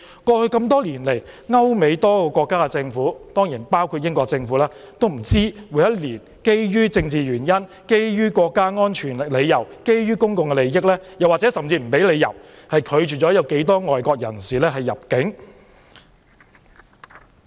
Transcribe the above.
過去多年來，歐美多個國家的政府——當然包括英國政府——基於政治原因、國家安全理由或公眾利益，甚至有可能不予任何理由，每年不知道拒絕多少名外國人士入境。